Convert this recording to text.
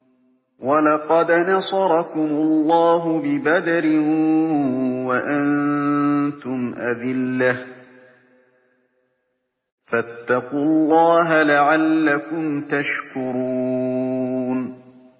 وَلَقَدْ نَصَرَكُمُ اللَّهُ بِبَدْرٍ وَأَنتُمْ أَذِلَّةٌ ۖ فَاتَّقُوا اللَّهَ لَعَلَّكُمْ تَشْكُرُونَ